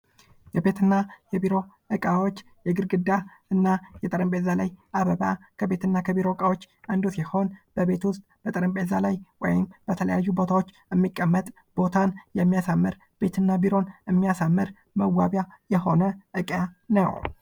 የቤትና የቢሮ እቃዎች ግርግዳ እና የጠረጴዛ ላይ አበባ ከቤትና ከቢሮ ዕቃዎች አንዱ ሲሆን የቤት ውስጥ የጠረጴዛ ላይ እንዲሁም በተለያዩ ቦታዎች የሚቀመጥ ቦታን የሚያሳምር ቤትና ቢሮን የሚያሳምር መዋቢያ የሆነ ዕቃ ነው።